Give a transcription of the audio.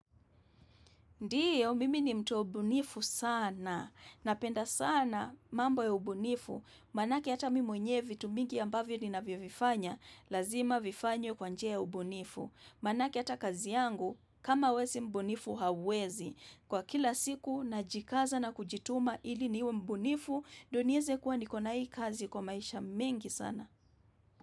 Ndiyo, mimi ni mtu wa ubunifu sana. Napenda sana mambo ya ubunifu. Maanake hata mimi mwenyewe vitu mingi ambavyo ninavyovifanya. Lazima vifanywe kwanjia ya ubunifu. Maanake hata kazi yangu, kama we si mbunifu hauwezi. Kwa kila siku na jikaza na kujituma ili niwe mbunifu, doniize kuwa nikona hii kazi kwa maisha mengi sana.